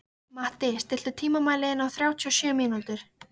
Matti, stilltu tímamælinn á þrjátíu og sjö mínútur.